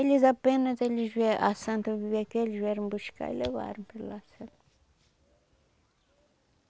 Eles apenas, eles vieram, a Santa vivia aqui, eles vieram buscar e levaram para lá sabe.